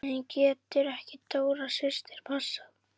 En getur ekki Dóra systir passað?